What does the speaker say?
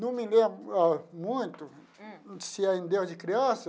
Não me lembro ah muito, se ainda desde criança,